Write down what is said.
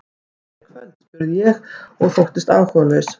Kemur Gaukur þá ekki hingað í kvöld? spurði ég og þóttist áhugalaus.